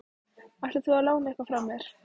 Ætlar þú að lána eitthvað frá þér?